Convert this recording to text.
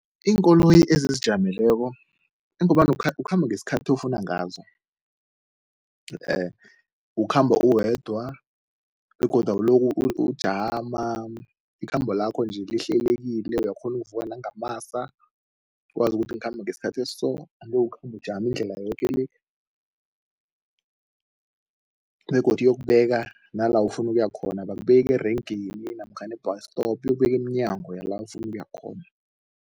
Iinkoloyi ezizijameleko lokha ukhamba ngesikhathi ofuna ngazo ukhamba uwedwa begodu awulokhu ujama, ikhambo lakho nje lihlelekile. Uyakghona ukuvuka nangamasa ukwazi ukuthi ngikhamba ngesikhathi esiso angeke ukhambe ujama indlela yoke le begodu iyokubeka nala ufuna ukuya khona, abakubeki erenkeni namkhana e-bus stop, iyokubeka emnyango yala ufuna ukuya khona.